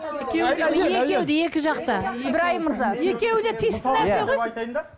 екеуі де екі жақ та ибраим мырза